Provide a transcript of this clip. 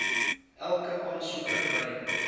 elke aansoeker by